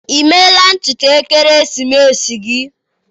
emela ntutu ekeresimesi gị?